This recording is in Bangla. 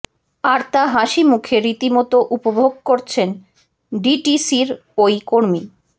আর তা হাসি মুখে রীতিমতো উপভোগ করছেন ডিটিসির ওই কর্মী